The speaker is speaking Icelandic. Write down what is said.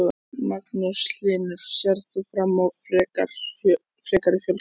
Magnús Hlynur: Sérð þú fram á frekari fjölgun?